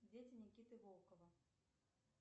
дети никиты волкова